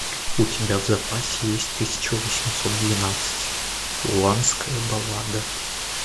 у тебя в запасе есть тысяча восемьсот двенадцать уланская баллада